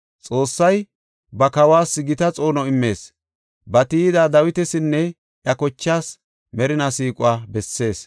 Xoossay ba kawas gita xoono immees; ba tiyida Dawitasinne iya kochaas, merinaa siiquwa bessees.